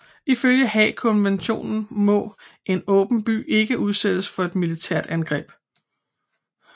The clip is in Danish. Ifølge Haagkonventionen må en åben by ikke udsættes for et militært angreb